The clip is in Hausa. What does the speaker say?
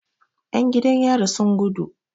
Yan jidan yari sun gudu.